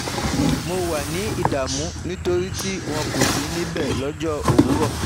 Mo wà ní ìdààmú nítorí wọn kò sí níbẹ̀ lọ́jọ́ owurọ